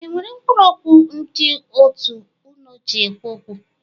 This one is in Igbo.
E nwere mkpụrụ okwu ndị òtù unu ji ekwu okwu?